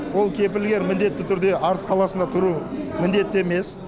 ол кепілгер міндетті түрде арыс қаласында тұруы міндетті емес